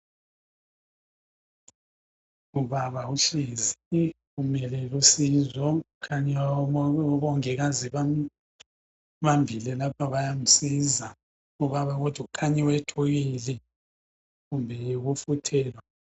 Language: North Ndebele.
Ubaba uhlezi, umelele usizo kukhanya omongikazi bambambile lapha. Bayamsiza. Ubaba kodwa, kukhanya wethukile, kumbe yikufuthelwa?